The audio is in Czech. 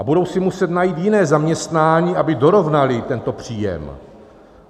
A budou si muset najít jiné zaměstnání, aby dorovnali tento příjem.